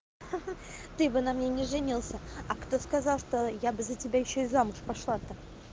ты бы на мне не женился а кто сказал что я бы за тебя ещё и замуж пошла б то